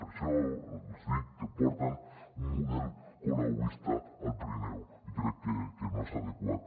per això els dic que porten un model colauista al pirineu i crec que no és adequat